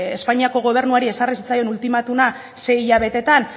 espainiako gobernuari ezarri zitzaion ultimatuma sei hilabetetan